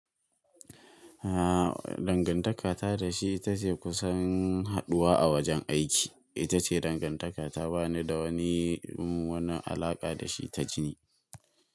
A dangantaka ta da shi ita ce kusan haɗuwa a wajen aiki. Ita ce dangantaka ta ba ni da wani, wani alaƙa da shi ta jini.